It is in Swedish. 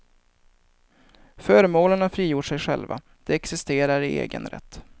Föremålen har frigjort sig själva, de existerar i egen rätt.